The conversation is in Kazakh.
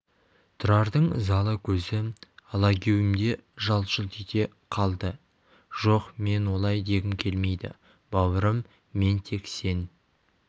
тұрардың ызалы көзі алагеуімде жалт-жұлт ете қалды жоқ мен олай дегім келмейді бауырым мен тек сен